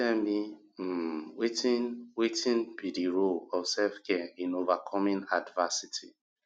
tell me um wetin wetin be di role of selfcare in overcoming adversity